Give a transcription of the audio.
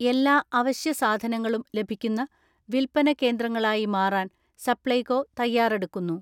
എല്ലാ അവശ്യ സാധനങ്ങളും ലഭിക്കുന്ന വിൽപന കേന്ദ്രങ്ങളായി മാറാൻ സപ്ലൈകോ തയ്യാറെടുക്കുന്നു.